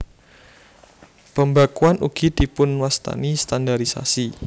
Pembakuan ugi dipunwastani standarisasi